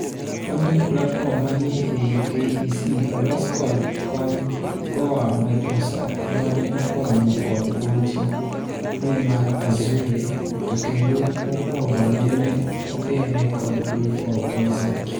Kontent platform manie ei KEC olos kod kony koa Microsoft, mane okonyo kod boche ne mar Azure to kendo mokwongo nene ogere kod proof of concept.